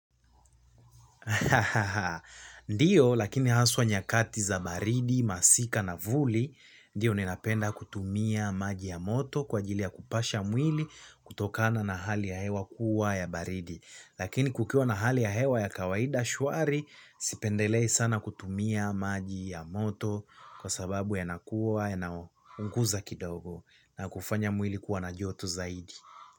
Ndiyo lakini haswa nyakati za baridi, masika na vuli. Ndiyo ninapenda kutumia maji ya moto kwa ajili ya kupasha mwili kutokana na hali ya hewa kuwa ya baridi. Lakini kukiwa na hali ya hewa ya kawaida shwari, sipendelei sana kutumia maji ya moto kwa sababu ya nakuwa yana unguza kidogo na kufanya mwili kuwa na joto zaidi.